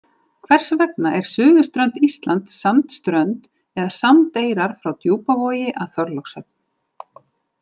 Hvers vegna er suðurströnd Íslands sandströnd eða sandeyrar frá Djúpavogi að Þorlákshöfn?